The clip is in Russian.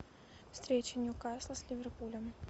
встреча ньюкасла с ливерпулем